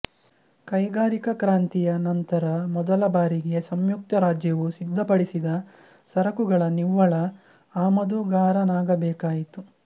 ಕೈಗಾರಿಕಾ ಕ್ರಾಂತಿಯ ನಂತರ ಮೊದಲ ಬಾರಿಗೆ ಸಂಯುಕ್ತ ರಾಜ್ಯವು ಸಿದ್ಧಪಡಿಸಿದ ಸರಕುಗಳ ನಿವ್ವಳ ಆಮದುಗಾರನಾಗಬೇಕಾಯಿತು